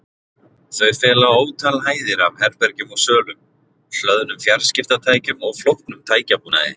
Þau fela ótal hæðir af herbergjum og sölum, hlöðnum fjarskiptatækjum og flóknum tækjabúnaði.